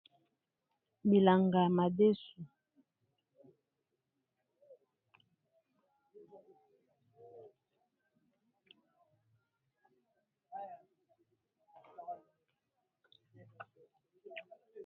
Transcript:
Bilanga ya madesu, bilanga ya madesu.